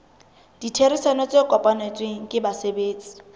ditherisano tse kopanetsweng ke basebetsi